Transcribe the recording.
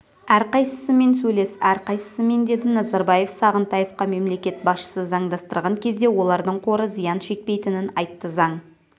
әрқайсысымен сөйлес әрқайсысымен деді назарбаев сағынтаевқа мемлекет басшысы заңдастырған кезде олардың қоры зиян шекпейтінін айтты заң